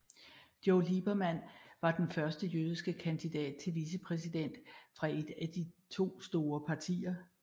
Joe Lieberman var den første jødiske kandidat til vicepræsident fra et af de to store partier